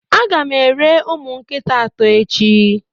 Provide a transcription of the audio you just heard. Ága m eri ụmụ nkịta atọ echi